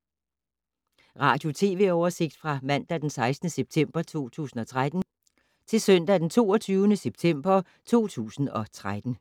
Radio/TV oversigt fra mandag d. 16. september 2013 til søndag d. 22. september 2013